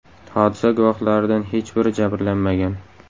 Hodisa guvohlaridan hech biri jabrlanmagan.